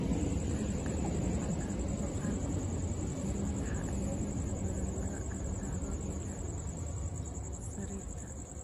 Dhallaanka leh muuqaalka maqaarku ee madaxa ayaa inta badan lagu gartaa koofiyadda sariirta.